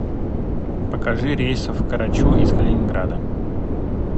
покажи рейсы в корочу из калининграда